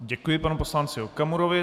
Děkuji panu poslanci Okamurovi.